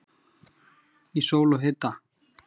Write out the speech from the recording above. Í sól og hita.